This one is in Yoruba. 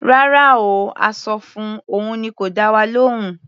Rárá o. A sọ fun, òun ni kò dá wa lóhùn.